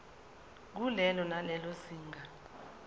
kulelo nalelo zinga